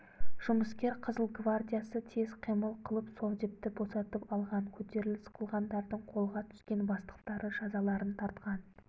жұмыскер қызыл гвардиясы тез қимыл қылып совдепті босатып алған көтеріліс қылғандардың қолға түскен бастықтары жазаларын тартқан